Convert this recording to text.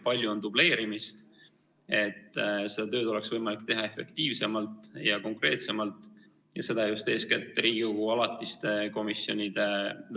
Palju on dubleerimist ja seda tööd oleks võimalik teha efektiivsemalt ja konkreetsemalt, seda just eeskätt Riigikogu alatiste komisjonide kaudu.